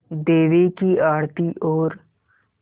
देवी की आरती और